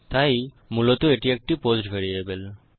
তাই মূলত এটি একটি পোস্ট ভ্যারিয়েবল